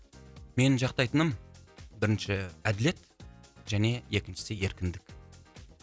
менің жақтайтыным бірінші әділет және екіншісі еркіндік